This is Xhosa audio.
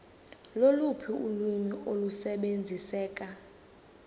loluphi ulwimi olusebenziseka